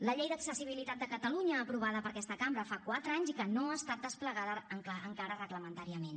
la llei d’accessibilitat de catalunya aprovada per aquesta cambra fa quatre anys i que no ha estat desplegada encara reglamentàriament